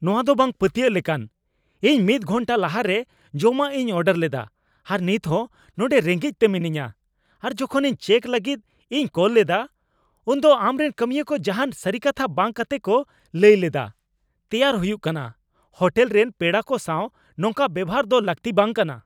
ᱱᱚᱶᱟ ᱫᱚ ᱵᱟᱝ ᱯᱟᱹᱛᱭᱟᱹᱜ ᱞᱮᱠᱟᱱ ᱾ ᱤᱧ ᱢᱤᱫ ᱜᱷᱚᱱᱴᱟ ᱞᱟᱦᱟᱨᱮ ᱡᱚᱢᱟᱜ ᱤᱧ ᱚᱰᱟᱨ ᱞᱮᱫᱟ ᱟᱨ ᱱᱤᱛᱦᱚᱸ ᱱᱚᱰᱮ ᱨᱮᱜᱮᱡᱽᱛᱮ ᱢᱮᱱᱟᱧᱼᱟ ᱾ ᱟᱨ ᱡᱚᱠᱷᱚᱱ ᱤᱧ ᱪᱮᱠ ᱞᱟᱹᱜᱤᱫ ᱤᱧ ᱠᱚᱞ ᱞᱮᱫᱟ, ᱩᱱᱫᱚ ᱟᱢᱨᱮᱱ ᱠᱟᱹᱢᱤᱭᱟᱹ ᱠᱚ ᱡᱟᱦᱟᱱ ᱥᱟᱹᱨᱤ ᱠᱟᱛᱷᱟ ᱵᱟᱝ ᱠᱟᱛᱮ ᱠᱚ ᱞᱟᱹᱭ ᱞᱮᱫᱟ ᱛᱮᱭᱟᱨ ᱦᱩᱭᱩᱜ ᱠᱟᱱᱟ ᱾ ᱦᱳᱴᱮᱞ ᱨᱮᱱ ᱯᱮᱲᱟ ᱠᱚ ᱥᱟᱶ ᱱᱚᱝᱠᱟ ᱵᱮᱣᱦᱟᱨ ᱫᱚ ᱞᱟᱹᱠᱛᱤ ᱵᱟᱝ ᱠᱟᱱᱟ ᱾